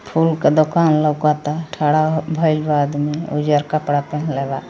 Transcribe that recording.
Full के दुकान लउकता थारा भइल बा आदमी उजड़ कपड़ा पहनेल बा।